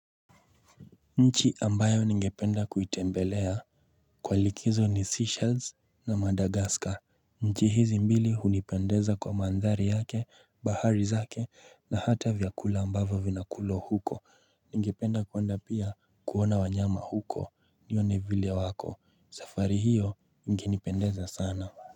Nchi ambayo ningependa kuitembelea kwa likizo ni seychelles na madagascar nchi hizi mbili hunipendeza kwa mandhari yake, bahari zake na hata vyakula ambavyo vinakulwa huko ningependa kwenda pia uko kuona wanyama huko nione vile wako safari hiyo nginipendeza sana.